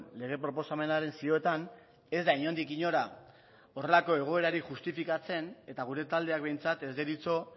lege proposamenaren zioetan ez da inondik inora horrelako egoerarik justifikatzen eta gure taldeak behintzat ez deritzo